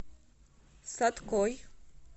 саткой